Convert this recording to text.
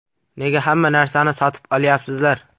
Nega hamma narsani sotib olyapsizlar?